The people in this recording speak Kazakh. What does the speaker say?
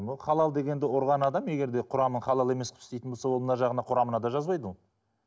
ол халал дегенді құрған адам егер де құрамы халал емес қып істейтін болса ол мына жағына құрамында жазбайды ол